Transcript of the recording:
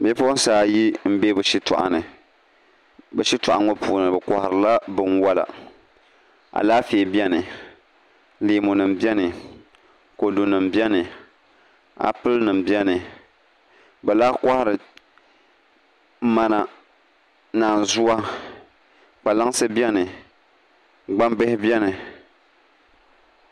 Bipuɣunsi ayi n bɛ bi shitoɣu ni bi shitoɣu ŋo puuni bi koharila binwola Alaafee biɛni leemu nim biɛni kodu nim biɛni appli nim biɛni bi lahi kohari mana naanzuwa kpalaŋsi biɛni gbambihi biɛni